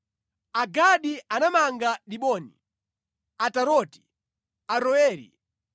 Agadi anamanga Diboni, Ataroti, Aroeri,